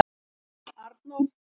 Arnór